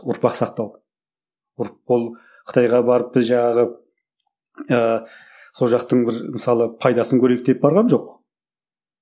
ұрпақ сақтау ол қытайға барып біз жаңағы ыыы сол жақтың бір мысалы пайдасын көрейік деп барған жоқ